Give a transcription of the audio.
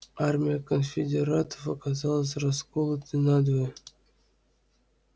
армия конфедератов оказалась расколотой надвое